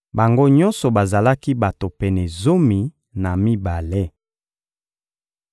Bango nyonso bazalaki bato pene zomi na mibale.